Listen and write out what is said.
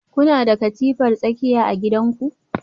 Kuna da katifar tsakiya a gidanku?